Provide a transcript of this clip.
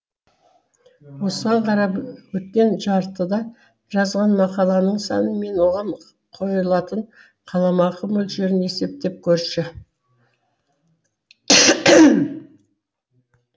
осыған қарап өткен жартыда жазған мақалаңның саны мен оған қойылатын қаламақы мөлшерін есептеп көрші